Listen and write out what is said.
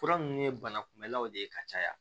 Fura ninnu ye banakunbɛlaw de ye ka caya